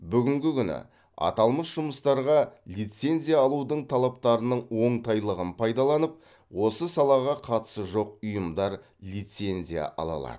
бүгінгі күні аталмыш жұмыстарға лицензия алудың талаптарының оңтайлығын пайдаланып осы салаға қатысы жоқ ұйымдар лицензия ала алады